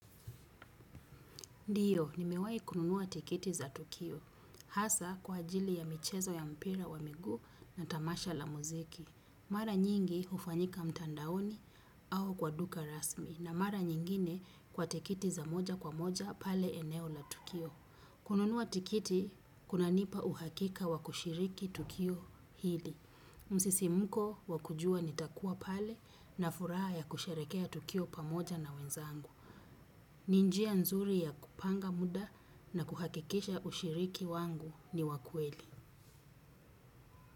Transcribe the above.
Ndiyo, nimewai kununua tikiti za Tukio. Hasa kwa ajili ya michezo ya mpira wa miguu na tamasha la muziki. Mara nyingi hufanyika mtandaoni au kwa duka rasmi. Na mara nyingine kwa tikiti za moja kwa moja pale eneo la tukio. Kununua tikiti, kunanipa uhakika wa kushiriki Tukio hili. Msisimko wa kujua nitakuwa pale na furaha ya kusherekea Tukio pamoja na wenzangu. Ni njia nzuri ya kupanga muda na kuhakikisha ushiriki wangu ni wa kweli.